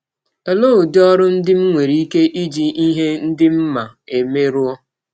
Ọlee ụdị ọrụ ndị m nwere ike iji ihe ndị m ma eme rụọ?